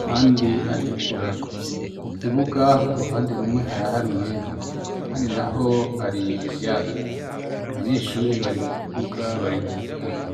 ahandi atukura, mu kibuga uruhande rumwe haraharuye ahandi naho hari ivyatsi abanyeshuri bari mu kibuga bari gukina.